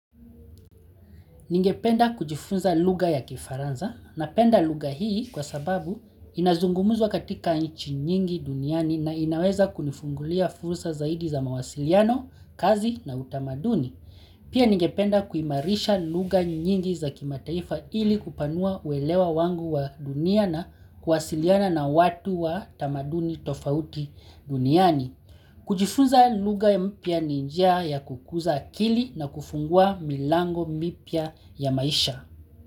Ningependa kujifunza lugha ya kifaranza na penda lugha hii kwa sababu inazungumuzwa katika inchi nyingi duniani na inaweza kunifungulia fursa zaidi za mawasiliano, kazi na utamaduni. Pia ningependa kuimarisha lugha nyingi za kimataifa ili kupanua uelewa wangu wa duniana kuwasiliana na watu wa tamaduni tofauti duniani. Kujifuza lugha mpya ninjia ya kukuza akili na kufungua milango mipia ya maisha.